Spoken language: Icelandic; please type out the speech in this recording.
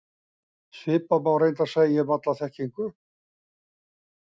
Svipað má reyndar segja um alla þekkingu.